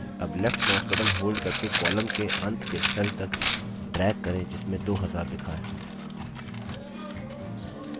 अब left mouse button hold करके column के अंत के cell तक drag करें जिसमें 2000 लिखा है